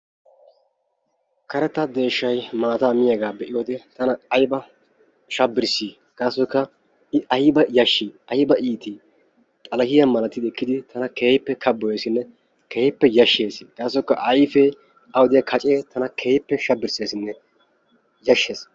Karetta deeshshay maataa miiyagaa be'iyode tana ayba shabirssi gassoykka I ayba yashshii ayba iitti xalahiya malati ekkidi tana keehippe kabboyeesinne keehippe yashshees. Gaassoykka ayfee, awu diya kacee tana keehippe yashshees.